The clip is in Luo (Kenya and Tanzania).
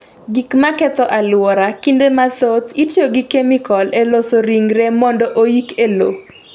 Gik maketho alwora: Kinde mathoth, itiyo gi kemikol e loso ringre mondo oyik e lowo.